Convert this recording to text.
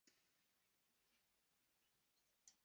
Er Gylfi vanmetinn í samanburði við þessa leikmenn?